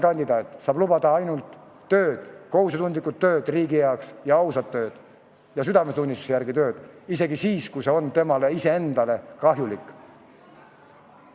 Kandidaat saab lubada ainult tööd, kohusetundlikku tööd riigi heaks ja ausat tööd ja südametunnistuse järgi tehtud tööd, isegi siis, kui see on talle iseendale kahjulik.